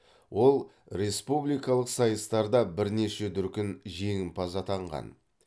ол республикалық сайыстарда бірнеше дүркін жеңімпаз атанған